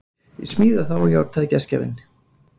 Ég smíða þá, játaði gestgjafinn.